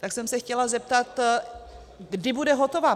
Tak jsem se chtěla zeptat, kdy bude hotová.